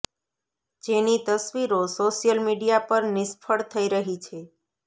જેની તસ્વીરો social media પર નિષ્ફળ થઈ રહી છે